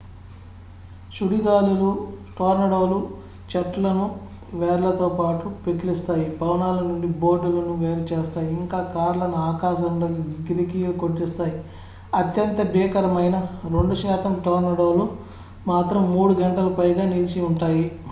సుడిగాలులు టోర్నడోలు చెట్లను వేర్లతోపాటు పెకిలిస్తాయి భవనాల నుండి బోర్డులను వేరు చేస్తాయి ఇంకా కార్లను ఆకాశంలోకి గిరికీలు కొట్టిస్తాయి అత్యంత భీకరమైన 2 శాతం టోర్నడోలు మాత్రం మూడు గంటలకు పైగా నిలిచి ఉంటాయి